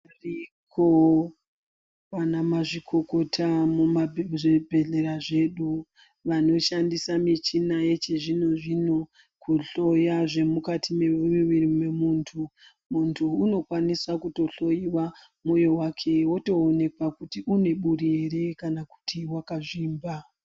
Variko vana mazvikokota muzvibhedhlera zvedu vanoshandisa muchina yechizvinozvino kuhloya zvemukati mumuviri memuntu, muntu unokwanisa kuhloiwa moyo wake kutinuneburi here kana akazvimba.